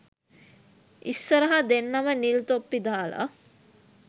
ඉස්සරහ දෙන්නම නිල් ‍තොප්පි දාල